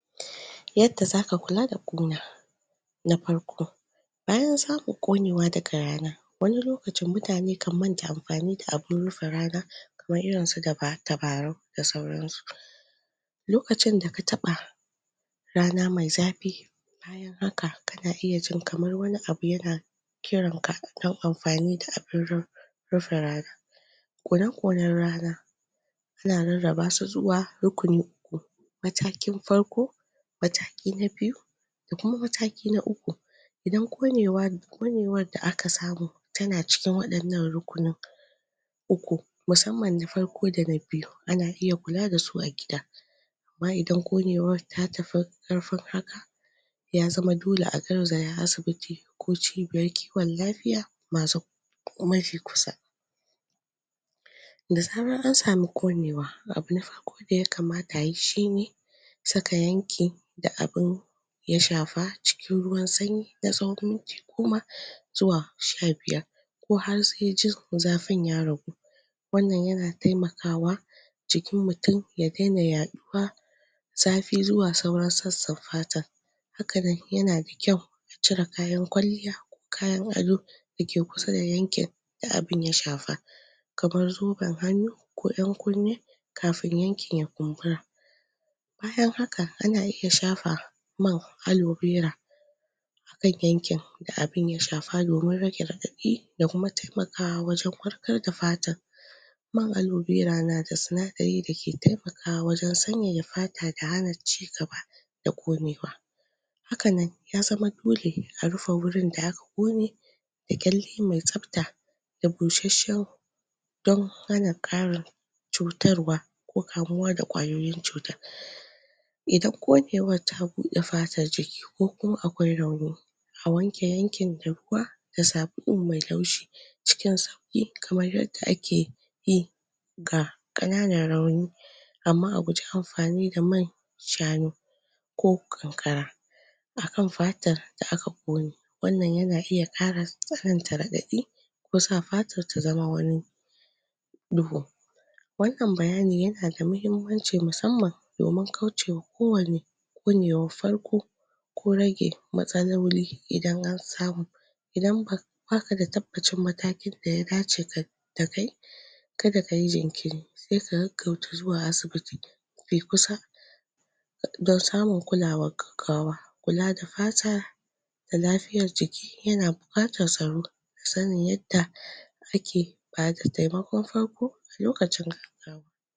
yadda zaka kula da ƙuna na farko bayan saka ƙunewa daga rana wani lokacin mutane kan manta amfani da abun rufe rana kamar irinsu tabarau da sauransu lokacin da ka taɓa rana mai zafi bayan haka kana iya jin kamar wani abu yana kiranka ɗau amfani da abun rufe rana kone konan rana ana rarrabasu zuwa rukuni uku matakin farko mataki na biyu da kuma mataki na uku idan ƙunewar da ka samu tana cikin waɗannan rukunin uku musamman na farko dana biyu ana iya kula dasu a gida amma idan ƙunewar tafi karfin haka ya zama dole a garzaya asibiti ko cibiyar kiwan lafiya mafi kusa da zarar ansame ƙunewa abu na farko da yakama ta ayi shine saka yankin da abun ya shafa cikin ruwan sanyi na tsawan minti goma ko zuwa sha biyar ko har sai jin zafin ya ragu wannan yana taimakawa jikin mutun ya dena ya ɗuwa zafi zuwa sauran sassan fatan hakan yana da kyau a cire kayan kwalliya ko kayan ado dake kusa da yankin da abun ya shafa kamar zuben hannu ko ƴan kunne kafin yankin ya kumbura bayan haka ana iya shafa man alobera akan yankin da abun ya shafa domin rage raɗaɗi da kuma taimakawa wajan warkar da fatar man alobera na da sinadarin da ke taimakawa wajan sanyaya fata da hana cigaba da ƙunewa hakanan ya zama dole a rufe wurin da da ƙyalle me tsafta da bushasshan don hana ƙarin cutarwa ko kamuwa da ƙwayoyin cuta idan ƙunewar ta buɗe fatar jiki ko kuma aƙwai rauni a wanke yankin da ruwa da sabulo mai laushi cikin sauƙi kamar yadda ake yi ga kananan rauni amma a guje amfani da man shanu ko ƙanƙara akan fatar da aka ƙune wannan yana iya ƙara tsananta raɗaɗi ko sa fatar ta zama wani duhu wannan bayani yana da mahimmanci musamman domin kaucewa ko wanne ƙunewar farko ko rage matsaloli idan ansamu idan baka da tabbacin matakin da ya dace da kai kada kayi jinkiri sai ka gaggauta zuwa asibiti me kusa don samun kulawar gaggawa kula da fata da lafiyar jiki yana buƙatar tsaro da sanin yadda riƙe bada taimakon farko lokacin gaggawa